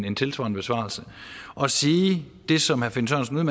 en tilsvarende besvarelse og sige det som herre finn sørensen